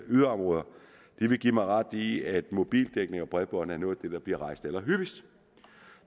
yderområder vil give mig ret i at mobildækning og bredbåndsdækning bliver rejst allerhyppigst